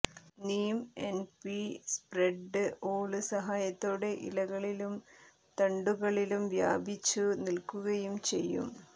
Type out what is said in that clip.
Neem N P spread ഓള് സഹായത്തോടെ ഇലകളിലും തന്ടുകളിലും വ്യാപിച്ചു നില്ക്കുകയും ചെയ്യും